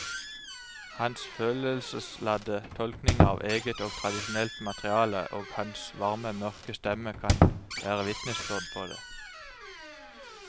Hans følelsesladde tolkninger av eget og tradisjonelt materiale og hans varme mørke stemme kan være vitnesbyrd på det.